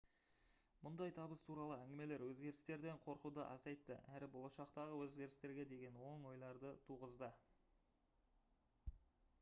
мұндай табыс туралы әңгімелер өзгерістерден қорқуды азайтты әрі болашақтағы өзгерістерге деген оң ойларды туғызды